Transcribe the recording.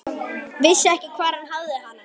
Vissi ekki hvar hann hafði hana.